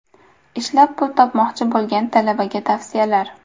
Ishlab pul topmoqchi bo‘lgan talabaga tavsiyalar.